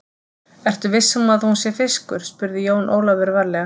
Ertu viss um að hún sé fiskur, spurði Jón Ólafur varlega.